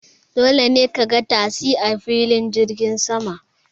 Dole ne ka ga tasi a filin jirgin sama.